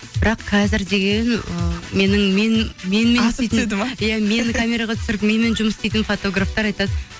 бірақ қазір деген ы менің менімен асып түседі ме иә мені камераға түсіріп менімен жұмыс істейтін фотографтар айтады